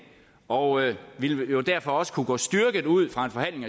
og ville jo derfor også kunne gå styrket ud fra en forhandling